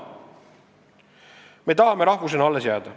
Me tahame rahvusena alles jääda.